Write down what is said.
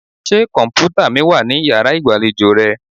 Ṣé kọ̀m̀pútà mi wà ní yàrá ìgbàlejò rẹ?